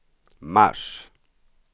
mars